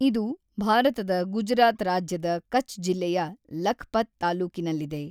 ಇದು ಭಾರತದ ಗುಜರಾತ್ ರಾಜ್ಯದ ಕಚ್ ಜಿಲ್ಲೆಯ ಲಖ್ಪತ್ ತಾಲ್ಲೂಕಿನಲ್ಲಿದೆ.